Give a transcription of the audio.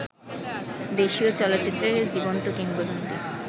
দেশীয় চলচ্চিত্রের জীবন্ত কিংবদন্তি